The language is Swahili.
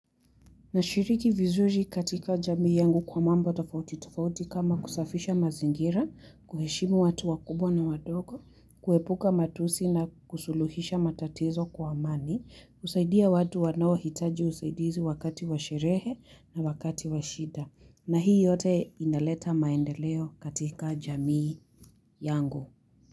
Na shiriki vizuri katika jamii yangu kwa mambo tofauti tofauti kama kusafisha mazingira, kuheshimu watu wakubwa na wadogo, kuepuka matusi na kusuluhisha matatizo kwa amani, kusaidia watu wanao hitaji usaidizi wakati washerehe na wakati washida. Na hii yote inaleta maendeleo katika jamii yangu.